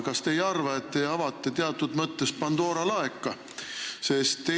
Kas te ei arva, et te avate teatud mõttes Pandora laeka?